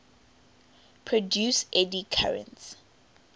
produce eddy currents